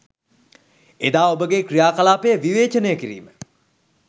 එදා ඔබගේ ක්‍රියා කලාපය විවේචනය කිරීම